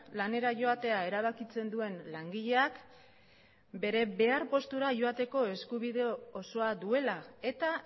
lanera joatea erabakitzen duen langileak bere behar postura joateko eskubide osoa duela eta